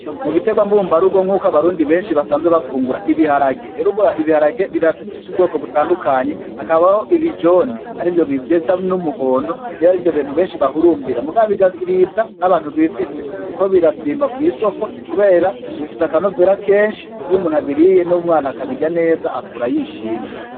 Mu biterwa mbumba ari ubwo nk'uko abarundi benshi basanze bafungura ibiharage hero ubwa ibiharage biramfise ubwoko butandukanye hakabaho ibijone ari vyo bivye nsa n'umuhondo ni ro ari vyo bintu benshi bahurumbira mugabi igaribwa n'abantu bifise, kuko birazimba kw'isoko, kubera bifise akanovera kenshi iyo umuntu abiriye n'umwana akabirya neza akurayisha simye.